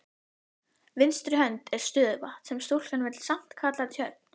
vinstri hönd er stöðuvatn sem stúlkan vill samt kalla tjörn.